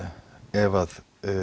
ef